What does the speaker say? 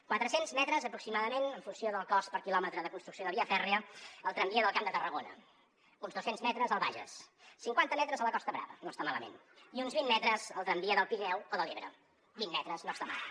quatre cents metres aproximadament en funció del cost per quilòmetre de construcció de via fèrria al tramvia del camp de tarragona uns dos cents metres al bages cinquanta metres a la costa brava no està malament i uns vint metres al tramvia del pirineu o de l’ebre vint metres no està malament